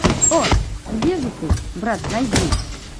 о где же ты брат найди